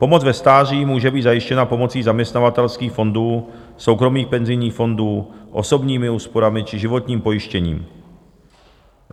Pomoc ve stáří může být zajištěna pomocí zaměstnavatelských fondů, soukromých penzijních fondů, osobními úsporami či životním pojištěním.